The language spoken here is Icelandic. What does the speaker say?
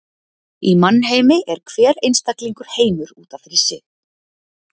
Í mannheimi er hver einstaklingur heimur út af fyrir sig.